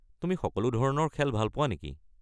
তুমি সকলো ধৰণৰ খেল ভাল পোৱা নেকি?